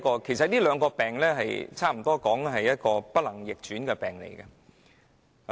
其實，這兩個病差不多可說是不能逆轉。